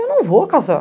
Eu não vou casar.